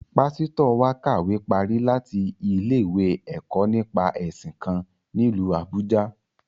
Pásítọ̀ wa kàwé parí láti ilé-ìwé ẹ̀kọ́ nípa ẹ̀sìn kan, nílu Àbújâ